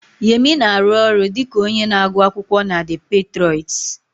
Yemi na-arụ ọrụ dị ka onye na-agụ akwụkwọ na The Patriots